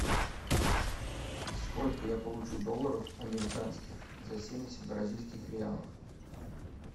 сколько я получу долларов американских за семьдесят бразильских реалов